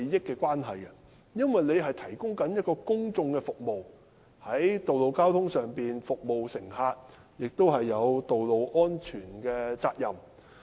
司機負責提供公共服務，在道路上服務乘客，而且有道路安全的責任。